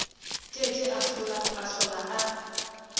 ke ke a hlola a